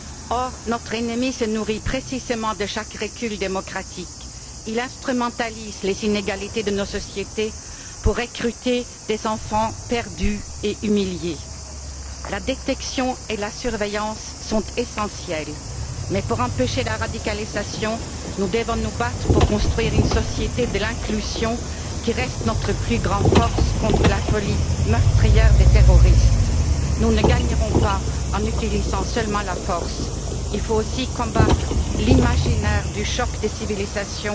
Or, notre ennemi se nourrit précisément de chaque recul démocratique. Il instrumentalise les inégalités de nos sociétés pour recruter des enfants perdus et humiliés. La détection et la surveillance sont essentielles. Mais, pour empêcher la radicalisation, nous devons nous battre pour construire une société de l'inclusion, qui reste notre plus grande force contre la folie meurtrière des terroristes. Nous ne gagnerons pas en utilisant seulement la force. Il faut aussi combattre l'imaginaire du choc des civilisations